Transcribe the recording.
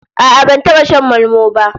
A'a, ban taba shan malmo ba